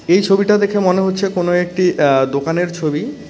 এই ছবিটা দেখে মনে হচ্ছে কোনো একটি আঃ দোকানের ছবি।